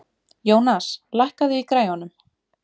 Jónas, lækkaðu í græjunum.